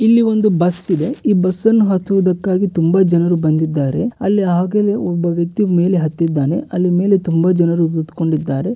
ಇಲ್ಲಿ ಒಂದು ಬಸ್ ಇದೆ. ಈ ಬಸ್ಸನ್ನು ಹತ್ತುವುದಕ್ಕಾಗಿ ತುಂಬಾ ಜನರು ಬಂದಿದ್ದಾರೆ ಅಲ್ಲಿ ಆಗಲೆ ಒಬ್ಬ ವ್ಯಕ್ತಿ ಮೇಲೆ ಹತ್ತಿದ್ದಾನೆ ಅಲ್ಲಿ ಮೇಲೆ ತುಂಬ ಜನರು ಕುತ್ಕೊಂಡಿದ್ದಾರೆ.